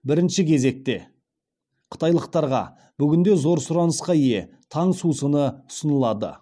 бірінші кезекте қытайлықтарға бүгінде зор сұранысқа ие таң сусыны ұсынылады